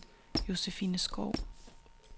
Josephine Skou